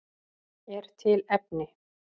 Er til efni?